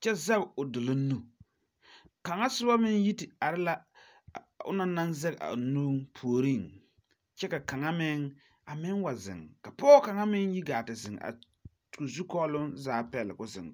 kyɛ zɛŋ o doluŋ nu, kaŋa soba meŋ yi are la a onɔŋ naŋ zɛŋ o nu puoriŋ kyɛ ka kaaŋa meŋ ziŋ ka pɔge kaŋa meŋ yi gaa te ziŋ koo zu kɔɔloŋ zaa pil koo ziŋ.